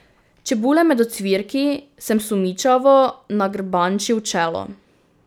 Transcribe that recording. Čebule med ocvirki, sem sumničavo nagrbančil čelo...